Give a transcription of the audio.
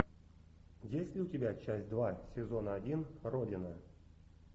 есть ли у тебя часть два сезона один родина